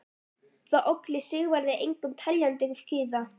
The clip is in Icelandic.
Það olli Sigvarði engum teljandi kvíða.